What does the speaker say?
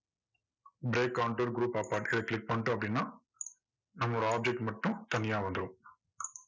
break counter group apart இதை click பண்ணிட்டோம் அப்படின்னா, நம்மளோட object மட்டும் தனியா வந்துடும்